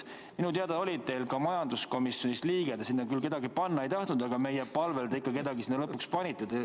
Minu teada oli ka teil majanduskomisjonis oma liige – te sinna küll kedagi panna ei tahtnud, aga meie palvel te kellegi ikka lõpuks panite.